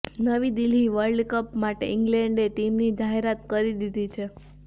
નવી Delhi world cup માટે ઇંગ્લેન્ડે ટીમની જાહેરત કરી દીધી છે